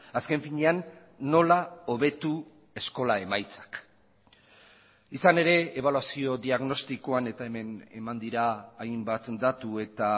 azken finean nola hobetu eskola emaitzak izan ere ebaluazio diagnostikoan eta hemen eman dira hainbat datu eta